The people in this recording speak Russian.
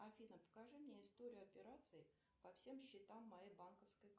афина покажи мне историю операций по всем счетам моей банковской карты